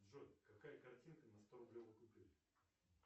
джой какая картинка на сторублевой купюре